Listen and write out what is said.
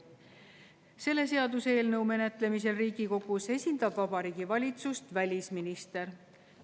Selle seaduseelnõu menetlemisel Riigikogus esindab Vabariigi Valitsust välisminister.